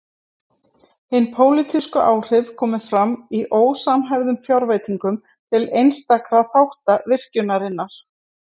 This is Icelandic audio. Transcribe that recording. Hin pólitísku áhrif komu fram í ósamhæfðum fjárveitingum til einstakra þátta virkjunarinnar.